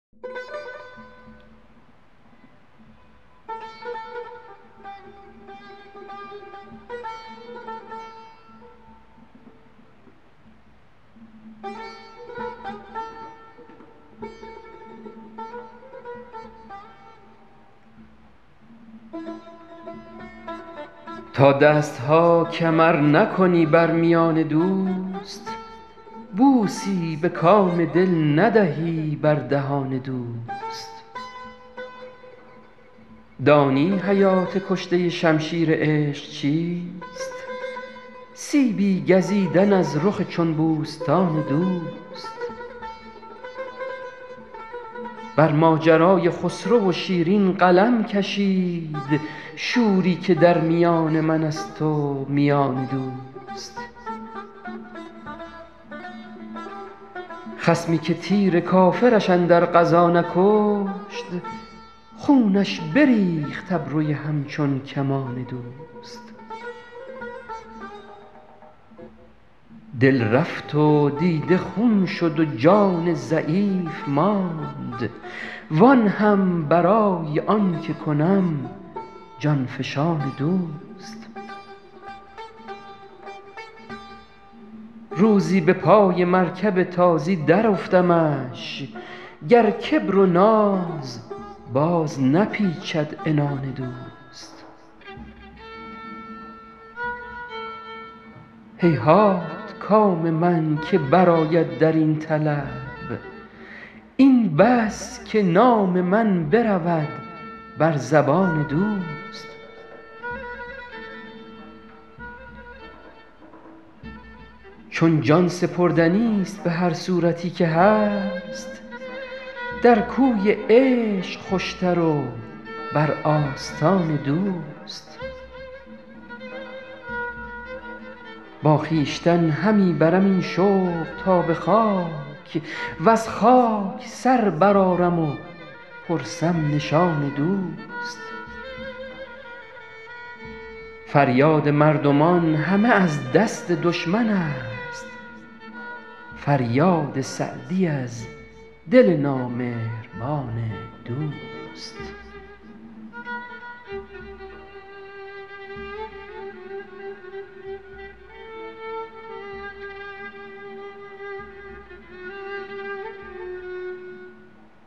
تا دست ها کمر نکنی بر میان دوست بوسی به کام دل ندهی بر دهان دوست دانی حیات کشته شمشیر عشق چیست سیبی گزیدن از رخ چون بوستان دوست بر ماجرای خسرو و شیرین قلم کشید شوری که در میان من است و میان دوست خصمی که تیر کافرش اندر غزا نکشت خونش بریخت ابروی همچون کمان دوست دل رفت و دیده خون شد و جان ضعیف ماند وآن هم برای آن که کنم جان فشان دوست روزی به پای مرکب تازی درافتمش گر کبر و ناز باز نپیچد عنان دوست هیهات کام من که برآید در این طلب این بس که نام من برود بر زبان دوست چون جان سپردنیست به هر صورتی که هست در کوی عشق خوشتر و بر آستان دوست با خویشتن همی برم این شوق تا به خاک وز خاک سر برآرم و پرسم نشان دوست فریاد مردمان همه از دست دشمن است فریاد سعدی از دل نامهربان دوست